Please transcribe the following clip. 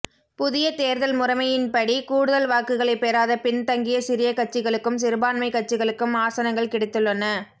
புதிய தேர்தல் முறைமையின்படி கூடுதல் வாக்குகளைப் பெறாத பின்தங்கிய சிறிய கட்சிகளுக்கும் சிறுபான்மைக் கட்சிகளுக்கும் ஆசனங்கள் கிடைத்துள்ளன